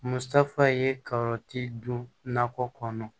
Musaka ye kaba ti don nakɔ kɔnɔ